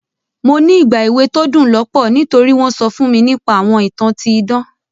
Mo ní ìgbà èwe to dún lọ́pọ̀ nítori won so fún mi nipa àwọn ìtàn ti idan.